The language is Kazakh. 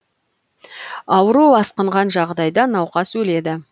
ауру асқынған жағдайда науқас өледі